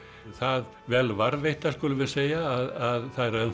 það vel varðveittar skulum við segja að það eru